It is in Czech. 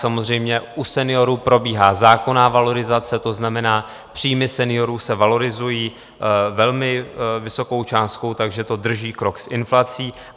Samozřejmě u seniorů probíhá zákonná valorizace, to znamená, příjmy seniorů se valorizují velmi vysokou částkou, takže to drží krok s inflací.